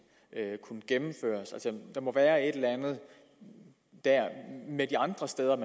gennemføres altså der må være et eller andet de andre steder